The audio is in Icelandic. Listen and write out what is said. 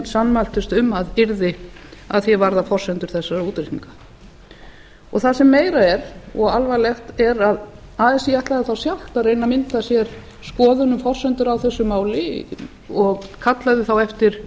sammæltust um að yrði varðandi forsendur þessara útreikninga það sem meira er og alvarlegt er að así ætlaði þá sjálft að reyna að mynda sér skoðun um forsendur á þessu máli og kallaði þá eftir